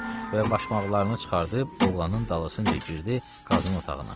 Və başmaqlarını çıxardıb oğlanın dalısınca girdi Qazının otağına.